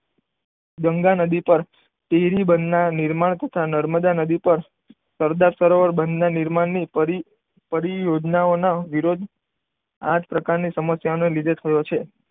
ગંગા નદી પર કેરી બંધના નિર્માણ તથા નર્મદા નદી પર સરદાર સરોવર બંધના નિર્માણની યોજનાઓનો વિરોધ આ જ પ્રકારની સમાસને લીધે થયો છે.